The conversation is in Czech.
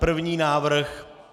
První návrh.